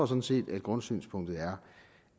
sådan set grundsynspunktet er